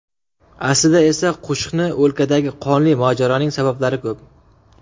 Aslida esa qo‘shni o‘lkadagi qonli mojaroning sabablari ko‘p.